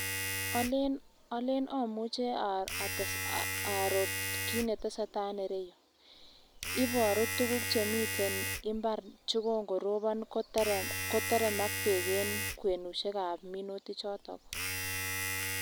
Oleen omuche oror kiit neteseta en ireyu, iboru tukuk chemiten imbar chekongorobon koteremak en kwenushekab minuti choton.